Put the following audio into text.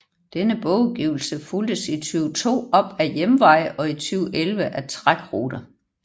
Denne bogudgivelse fulgtes i 2002 op af Hjemveje og i 2011 af Trækruter